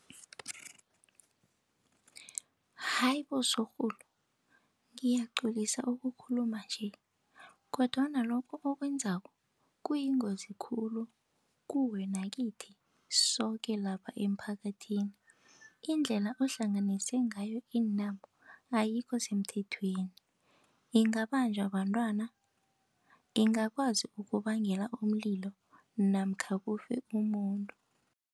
Hayi bo! Sorhulu ngiyaqolisa ukukhuluma nje, kodwana lokho okwenzako kuyingozi khulu kuwe nakithi, soke lapha emphakathini. Indlela ohlanganise ngayo iintambo ayikho semthethweni, ingabanjwa bantwana, ingakwazi ukubangela umlilo namkha kufe umuntu.